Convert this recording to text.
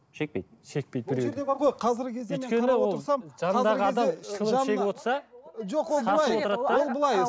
шекпейді шекпейді де біреуі де